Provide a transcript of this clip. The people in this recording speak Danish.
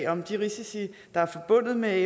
om de risici der er forbundet med